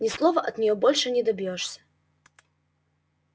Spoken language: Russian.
ни слова от неё больше не добьёшься